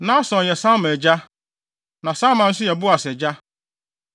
Nahson yɛ Salma agya. Na Salma nso yɛ Boas agya.